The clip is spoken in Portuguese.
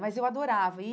Mas eu adorava e.